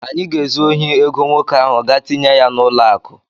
Anyị ga-ezu ohi ego nwoke ahụ gaa tinye ya n'ụlọakụ.